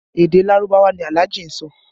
Èdè Lárúbáwá ni Alhaji sọ